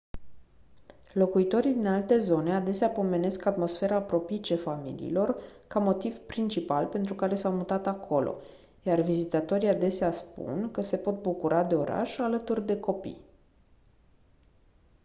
locuitorii din alte zone adesea pomenesc atmosfera propice familiilor ca motiv principal pentru care s-au mutat acolo iar vizitatorii adesea spun că se pot bucura de oraș alături de copii